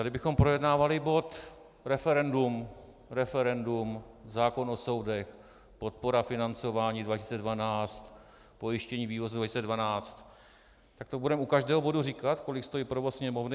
A kdybychom projednávali bod referendum, referendum, zákon o soudech, podpora financování 2012, pojištění vývozu 2012, tak to budeme u každého bodu říkat, kolik stojí provoz Sněmovny?